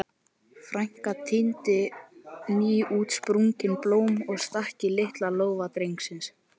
Frænka tíndi nýútsprungin blóm og stakk í lítinn lófa Drengs.